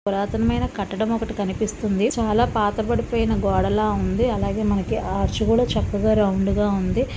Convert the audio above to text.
పురాతనమైన కట్టడం ఒకటి కనిపిస్తుంది. చాలా పాతపడిపోయిన గోడలా ఉంది అలాగే మనకి ఆర్చ్ కూడా చక్కగా రౌండ్ గా--